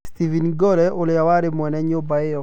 Stephen Gore ũrĩa warĩ mwene nyũmba ĩyo